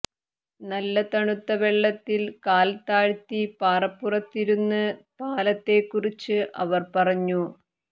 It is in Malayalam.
നല്ല തണുത്ത വെള്ളത്തിൽ കാൽ താഴ്ത്തി പാറപ്പുറത്തിരുന്ന് പാലത്തെക്കുറിച്ച് അവർ പറഞ്ഞു